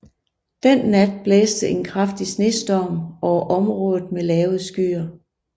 Den nat blæste en kraftig snestorm over området med lave skyer